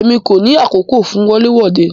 Emi ko ni ni àkókò fún wọle wode.